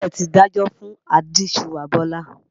Báàlẹ̀ ti dájọ́ fún ajíṣuwà Bọ́lá.